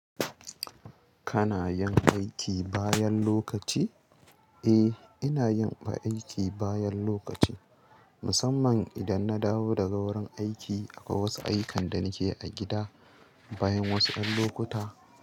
Kana yin aiki bayan lokaci? Eh, ina yin aiki bayan lokaci, musamman idan na dawo daga wurin aiki akwai wasu ayyukan da nake a gida. Bayan wasu 'yan lokuta.